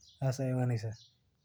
yihiin xoolo aad u deggan.